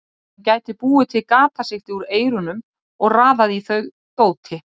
Hann gæti búið til gatasigti úr eyrunum og raðað í þau dóti.